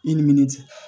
I ni min cɛ